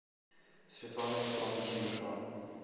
светлана петровна тимушева